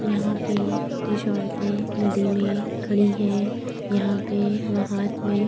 यहाँ पे कुछ औरते नदी मे खड़ी है। यहाँ पे हाथ मे --